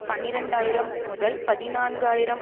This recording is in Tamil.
பனிரண்டு ஆயிரம்முதல்பதினான்கு ஆயிரம்